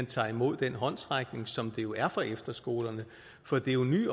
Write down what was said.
tager imod den håndsrækning som det jo er fra efterskolerne for det er jo en ny